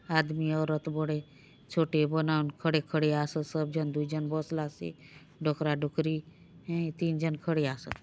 आदमी औरत बड़े छोटे बनाउन खड़े खड़े आसोत सब जन दूय जन बसलासे डोकरा डोकरी तिन जन खड़े आसोत।